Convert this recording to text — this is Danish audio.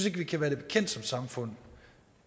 at vi kan være det bekendt som samfund